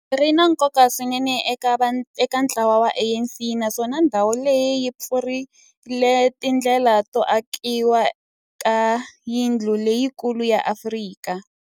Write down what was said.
Ri na nkoka swinene eka ntlawa wa ANC, naswona ndhawu leyi yi pfulrile tindlela to akiwa ka yindlu leyikulu ya Afrika.